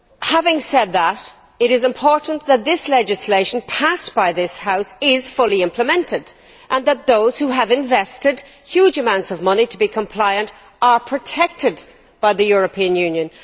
Having said that, it is important that this legislation passed by this House is fully implemented and that those who have invested huge amounts of money to be compliant are protected by the European Union.